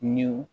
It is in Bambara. Ɲ'u